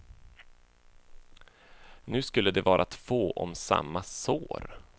Nu skulle de vara två om samma sår.